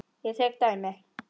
Ég tek dæmi.